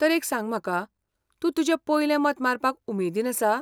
तर एक सांग म्हाका, तूं तुजें पयलें मत मारपाक उमेदीन आसा ?